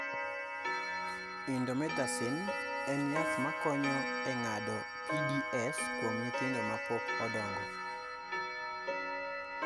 Indomethacin (in-doh-METH-ah-sin) en yath makonyo e ng'ado PDAs kuom nyithindo ma pok odongo.